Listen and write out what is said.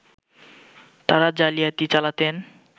তারা জালিয়াতি চালাতেন